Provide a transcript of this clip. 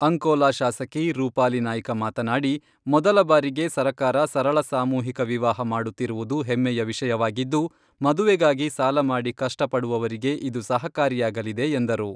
ಅಂಕೋಲಾ ಶಾಸಕಿ ರೂಪಾಲಿ ನಾಯ್ಕ ಮಾತನಾಡಿ, ಮೊದಲ ಬಾರಿಗೆ ಸರಕಾರ ಸರಳ ಸಾಮೂಹಿಕ ವಿವಾಹ ಮಾಡುತ್ತಿರುವುದು ಹೆಮ್ಮೆಯ ವಿಷಯವಾಗಿದ್ದು, ಮದುವೆಗಾಗಿ ಸಾಲಮಾಡಿ ಕಷ್ಟಪಡುವವರಿಗೆ ಇದು ಸಹಕಾರಿಯಾಗಲಿದೆ ಎಂದರು.